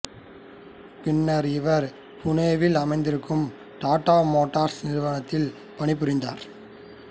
பின்னர் இவர் புனேயில் அமைந்திருக்கும் டாட்டா மோட்டார்சு நிறுவனத்தில் பணிபுரிந்தார்